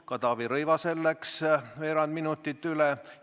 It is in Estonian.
Ka Taavi Rõivasel läks veerand minutit üle.